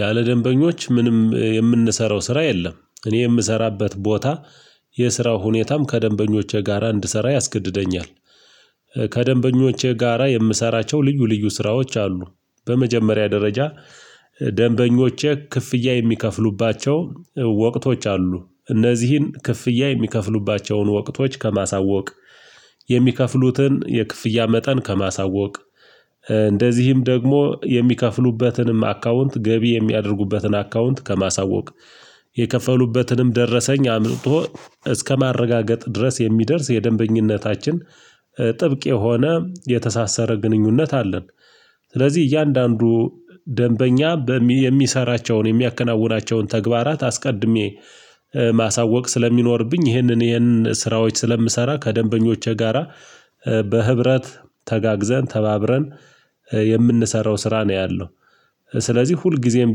ያለ ደንበኞች ምንም የምንሰራው ስራ የለም እኔ የምሰራበት ቦታ የስራው ሁኔታም ከደንበኞቼ ጋራ እንድሰራ ያስገድደኛል ከደንበኞቼ ጋራ የምሰራቸው ልዩ ልዩ ስራዎች አሉ በመጀመሪያ ደረጃ ደንበኞቼ ክፍያ የሚከፍሉባቸው ወቅቶች አሉ እነዚህን ክፍያ የሚከፍሉባቸውን ወቅቶች ከማሳወቅ የሚከፍሉትን የክፍያ መጠን ከማሳወቅ እንደዚህም ደግሞ የሚከፍሉበትንም አካውንት ገቢ የሚያደርጉበትን አካውንት ከማሳወቅ የከፈሉበትንም ደረሰኝ አምጥቶ እስከማረጋገጥ ድረስ የሚደርስ የደንበኝነታችን ጥብቅ የሆነ የተሳሰረ ግንኙነት አለን ስለዚህ እያንዳንዱ ደንበኛ የሚሰራቸውን የሚያከናውናቸውን ተግባራት አስቀድሜ ማሳወቅ ስለሚኖርብኝ ይሄንን ይሄንን ስራዎች ስለምሰራ ከደንበኞቼ ጋራ በህብረት ተጋግዘን ተባብረን የምንሰራው ስራ ነው ያለው ስለዚህ ሁልጊዜም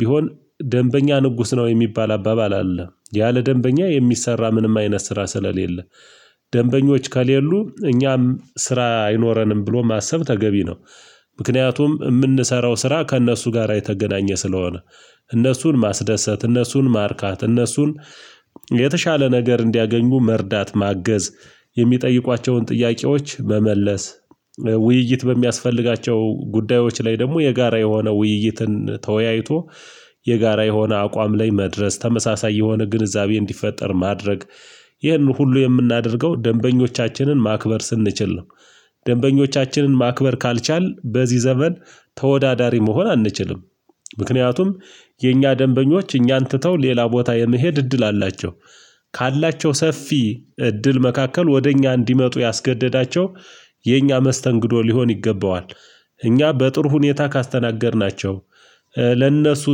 ቢሆን ደንበኛ ንጉስ ነው የሚባል አባባል አለ ያለ ደንበኛ የሚሰራ ምንም አይነት ስራ ስለሌለ ደንበኞች ከሌሉ እኛም ስራ አይኖረንም ብሎ ማሰብ ተገቢ ነው ምክንያቱም የምንሰራው ስራ ከእነሱ ጋራ የተገናኘ ስለሆነ እነሱን ማስደሰት እነሱን ማርካት እነሱን የተሻለ ነገር እንዲያገኙ መርዳት ማገዝ የሚጠይቋቸውን ጥያቄዎች መመለስ ውይይት በሚያስፈልጋቸው ጉዳዮች ላይ ደግሞ የጋራ የሆነ ውይይትን ተወያይቶ የጋራ የሆነ አቋም ላይ መድረስ ተመሳሳይ የሆነ ግንዛቤ እንዲፈጠር ማድረግ ይህንን ሁሉ የምናደርገው ደንበኞቻችንን ማክበር ስንችል ነው ደንበኞቻችንን ማክበር ካልቻልን በዚህ ዘመን ተወዳዳሪ መሆን አንችልም ምክንያቱም የእኛ ደንበኞች እኛን ትተው ሌላ ቦታ የመሄድ እድል አላቸው ካላቸው ሰፊ እድል መካከል ወደ እኛ እንዲመጡ ያስገደዳቸው የእኛ መስተንግዶ ሊሆን ይገባዋል እኛ በጥሩ ሁኔታ ካስተናገድናቸው ለእነሱ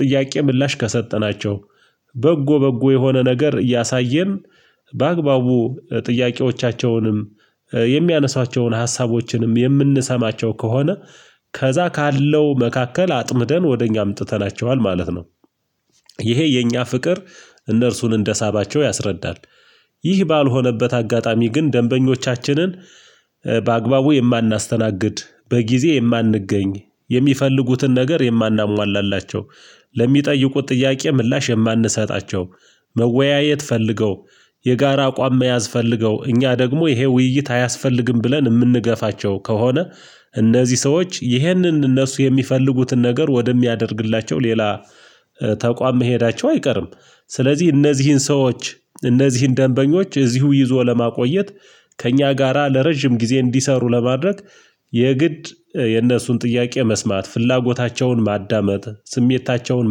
ጥያቄ ምላሽ ከሰጠናቸው በጎ በጎ የሆነ ነገር እያሳየን በአግባቡ ጥያቄዎቻቸውንም የሚያነሷቸውን ሀሳቦችንም የምንሰማቸው ከሆነ ከዛ ካለው መካከል አጥምደን ወደ እኛ አምጥተናቸዋል ማለት ነው ይሄ የእኛ ፍቅር እነርሱን እንደሳባቸው ያስረዳል። ይህ ባልሆነበት አጋጣሚ ግን ደንበኞቻችንን በአግባቡ የማናስተናግድ በጊዜ የማንገኝ የሚፈልጉትን ነገር የማናሟላላቸው ለሚጠይቁት ጥያቄ ምላሽ የማንሰጣቸው መወያየት ፈልገው የጋራ አቋም መያዝ ፈልገው እኛ ደግሞ ይሄ ውይይት አያስፈልግም ብለን የምንገፋቸው ከሆነ እነዚህ ሰዎች ይህንን እነሱ የሚፈልጉትን ነገር ወደሚያደርግላቸው ሌላ ተቋም መሄዳቸው አይቀርም ስለዚህ እነዚህን ሰዎች እነዚህን ደንበኞች እዚሁ ይዞ ለማቆየት ከእኛ ጋራ ለረጅም ጊዜ እንዲሰሩ ለማድረግ የግድ የነሱን ጥያቄ መስማት ፍላጎታቸውን ማዳመጥ ስሜታቸውን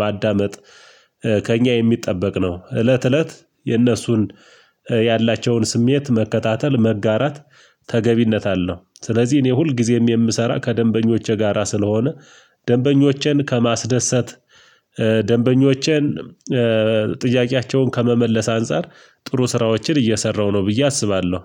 ማዳመጥ ከእኛ የሚጠበቅ ነው እለት እለት የእነሱን ያላቸውን ስሜት መከታተል መጋራት ተገቢነት አለው ስለዚህ እኔ ሁልጊዜም የምሰራ ከደንበኞቼ ጋራ ስለሆነ ደንበኞቼን ከማስደሰት ደንበኞቼን ጥያቄያቸውን ከመመለስ አንፃር ጥሩ ስራዎችን እየሰራሁ ነው ብዬ አስባለሁ